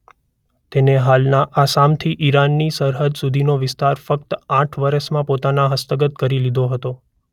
તેણે હાલના આસામથી ઈરાનની સરહદ સુધીનો વિસ્તાર ફક્ત આઠ વર્ષોમાં પોતાને હસ્તગત કરી લીધો હતો.